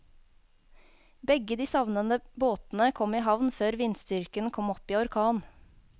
Begge de savnede båtene kom i havn før vindstyrken kom opp i orkan.